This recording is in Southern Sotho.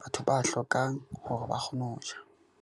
batho ba hlokang hore ba kgone ho ja.